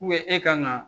e kan ka